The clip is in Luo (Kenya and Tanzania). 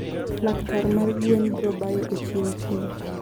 Laktar mar gwen brobayo e chiro kiny.